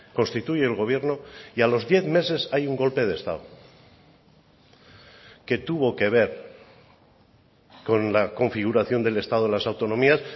constituye el gobierno y a los diez meses hay un golpe de estado que tuvo que ver con la configuración del estado de las autonomías